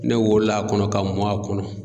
Ne wolol'a kɔnɔ ka mɔn a kɔnɔ